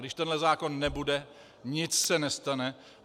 Když tenhle zákon nebude, nic se nestane.